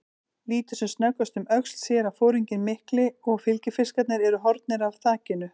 Lítur sem snöggvast um öxl, sér að foringinn mikli og fylgifiskarnir eru horfnir af þakinu.